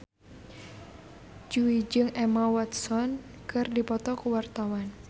Jui jeung Emma Watson keur dipoto ku wartawan